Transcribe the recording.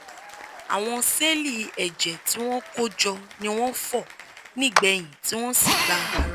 àwọn sẹ́ẹ̀lì ẹ̀jẹ̀ tí wọ́n kó jọ ni wọ́n fọ́ nígbẹ̀yìn tí wọ́n sì gba ara